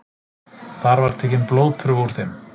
Þar var tekin blóðprufa úr þeim